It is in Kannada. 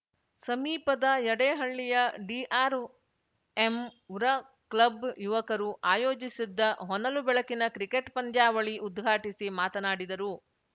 ಸಮೀಪದ ಯಡೇಹಳ್ಳಿಯ ಡಿಆರ್‌ಎಂವೃ ಕ್ಲಬ್‌ ಯುವಕರು ಆಯೋಜಿಸದ್ದ ಹೊನಲು ಬೆಳಕಿನ ಕ್ರಿಕೆಟ್‌ ಪಂದ್ಯಾವಳಿ ಉದ್ಘಾಟಿಸಿ ಮಾತನಾಡಿದರು